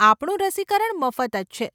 આપણું રસીકરણ મફત જ છે.